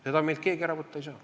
Seda meilt keegi ära võtta ei saa.